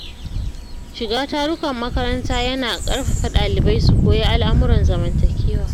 Shiga tarukan makaranta ya na ƙarfafa ɗalibai su koyi al’amuran zamantakewa.